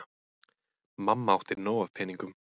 Mamma átti nóg af peningum.